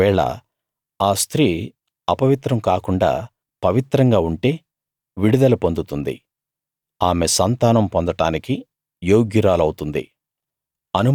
ఒకవేళ ఆ స్త్రీ అపవిత్రం కాకుండా పవిత్రంగా ఉంటే విడుదల పొందుతుంది ఆమె సంతానం పొందడానికి యోగ్యురాలవుతుంది